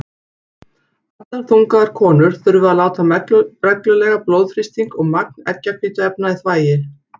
Allar þungaðar konur þurfa að láta mæla reglulega blóðþrýsting og magn eggjahvítuefna í þvagi.